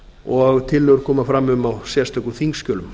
og tillögur koma fram um á sérstökum þingskjölum